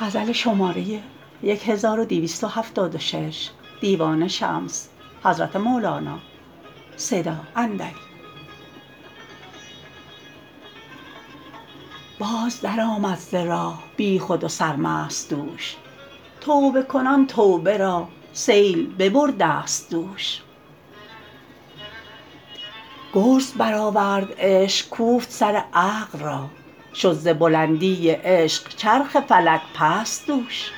باز درآمد ز راه بیخود و سرمست دوش توبه کنان توبه را سیل ببردست دوش گرز برآورد عشق کوفت سر عقل را شد ز بلندی عشق چرخ فلک پست دوش